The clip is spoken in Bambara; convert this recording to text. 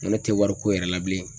N ko ne te wari ko yɛrɛ la bilen.